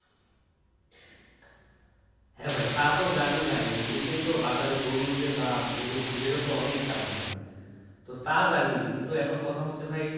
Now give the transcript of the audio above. হ্যাঁ ভাই তা তো জানি ভাই এমনিতেই তো বাজারে গরুর যে দাম গরুর দুধের তো অনেক দাম ভাই তো তা জানি কিন্তু এখন কথা হচ্ছে ভাই